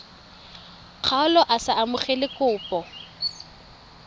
kgaolo a sa amogele kopo